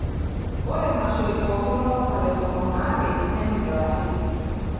Ore maishoi pookin olapa le tomon o aare netigilaki.